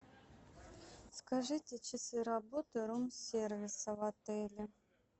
скажите часы работы рум сервиса в отеле